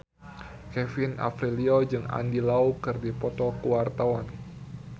Kevin Aprilio jeung Andy Lau keur dipoto ku wartawan